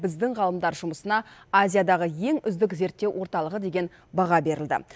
біздің ғалымдар жұмысына азиядағы ең үздік зерттеу орталығы деген баға берілді